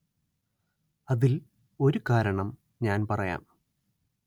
അതില്‍ ഒരു കാരണം ഞാന്‍ പറയാം